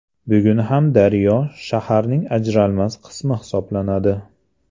Bugun ham daryo shaharning ajralmas qismi hisoblanadi.